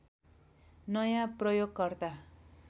नयाँ प्रयोगकर्ता